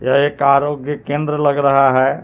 यह एक आरोग्य केंद्र लग रहा हे.